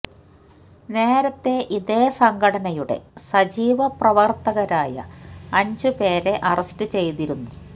നേരത്തെ ഇതേ സംഘടനയുടെ സജീവ പ്രവര്ത്തകരായ അഞ്ച് പേരെ അറസ്റ്റ് ചെയ്തിരുന്നു